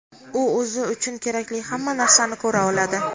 "u o‘zi uchun kerakli hamma narsani ko‘ra oladi".